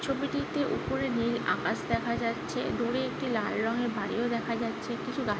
ছবিটিতে উপরে নীল আকাশ দেখা যাচ্ছে। দূরে একটি লাল রঙের বাড়ি ও দেখা যাচ্ছে। কিছু গা--